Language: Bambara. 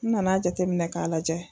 N nana jateminɛ k'a lajɛ.